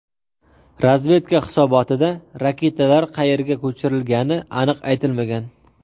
Razvedka hisobotida raketalar qayerga ko‘chirilgani aniq aytilmagan.